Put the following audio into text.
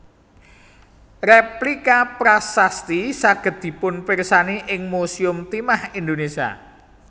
Rèplika prasasti saged dipunpirsani ing Musèum Timah Indonesia